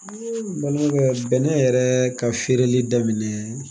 Bɛnɛ yɛrɛ ka feereli daminɛ